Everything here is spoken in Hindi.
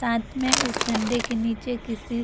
साथ में उस झंडे के नीचे किसी --